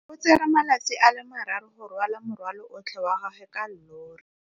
O tsere malatsi a le marraro go rwala morwalo otlhe wa gagwe ka llori.